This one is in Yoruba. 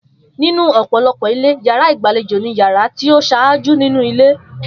Nínú ò̩pò̩lo̩pò̩ ilé, yàrá ìgbàlejò ni yàrá tí ó s̩áájú nínú ilé